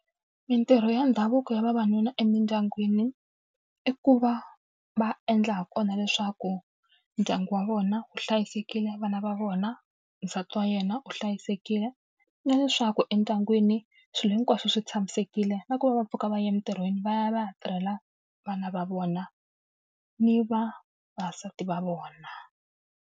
Mintirho ya ndhavuko ya vavanuna emindyangwini, i ku va va endla ha kona leswaku ndyangu wa vona wu hlayisekile, vana va vona, nsati wa yena u hlayisekile. Na leswaku endyangwini swilo hinkwaswo swi tshamisekile, na ku va va pfuka va ya emintirhweni va ya va ya tirhela vana va vona ni vavasati va vona.